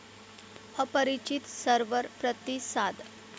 अपरिचीत server प्रतिसाद